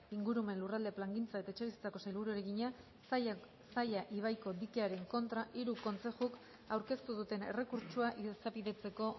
ingurumen lurralde plangintza eta etxebizitzako sailburuari egina zaia ibaiko dikearen kontra hiru kontzejuk aurkeztu duten errekurtsoa izapidetzeko